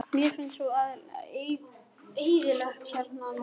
Mér finnst svo eyðilegt hérna núna.